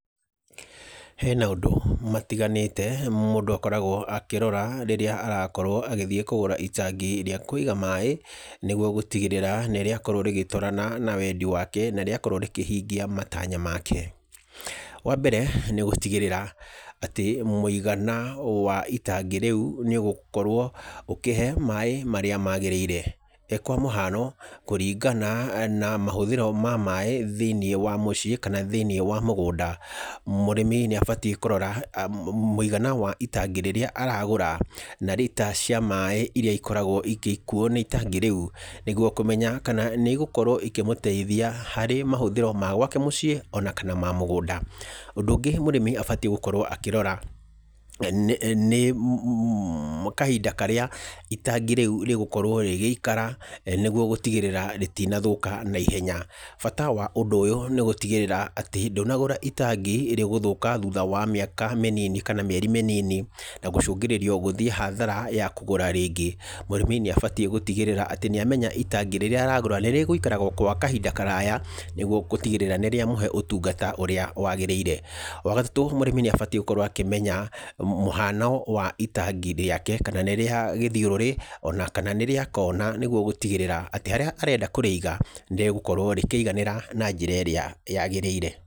He maũndũ matiganĩte mũndũ akoragwo akĩrora rĩrĩa arakorwo agĩthiĩ kũgũra itangi rĩa kũiga maaĩ, nĩguo gũtigĩrĩra nĩ rĩakorwo rĩgĩtwarana na wendi wake, na rĩakorwo rĩkĩhingia matanya make. Wambere nĩ gũtigĩrĩra atĩ mũigana wa itangi reu nĩ ũgũkorwo ũkĩhe maaĩ marĩa magĩrĩire. Kwa mũhano, kũringana na mahũthĩro ma maaĩ thĩiniĩ wa mũciĩ, kana thĩiniĩ wa mũgũnda, mũrĩmi nĩ abatiĩ kũrora mũigana wa itangi rĩrĩa aragũra, na rita cia maaĩ iria ikoragwo igĩkuo nĩ itangi reu nĩguo kumenya kana nĩ igũkorwo ikĩmũteithia harĩ mahũthĩro ma gwake mũciĩ, ona kana ma mũgũnda. Ũndũ ũngĩ mũrĩmi abatiĩ gũkorwo akĩrora nĩ kahinda karĩa itangi reu rĩgũkorwo rĩgĩikara nĩguo gũtigĩrĩra rĩtinathũka na ihenya. Bata wa ũndũ ũyũ nĩ gũtigĩrĩra atĩ ndũnagũra itangi rĩ gũthũka thutha wa mĩaka mĩnini, kana mĩaka mĩnini, kana mĩeri mĩnini, na gũcũngĩrĩrio gũthiĩ hathara ya kũgũra rĩngĩ. Mũrĩmi nĩ abatiĩ gũtigĩrĩra atĩ nĩ amenya itangi rĩrĩa aragũra nĩ rĩgũikara o gwa kahinda karaya nĩguo gũtigĩrĩra nĩ rĩa mũhe ũtungata ũrĩa wagĩrĩire. Wa gatatũ mũrĩmi nĩ abatiĩ gũkorwo akĩmenya mũhano wa itangi rĩake kana nĩ rĩa gĩthiũrũri, ona kana nĩ rĩa kona nĩguo gũtigĩrĩra atĩ harĩa arenda kũrĩiga nĩ rĩgukorwo rĩkĩiganĩra na njĩra irĩa yagĩrĩire.